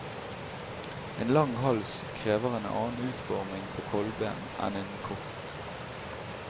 En lang hals krever en annen utforming på kolben enn en kort.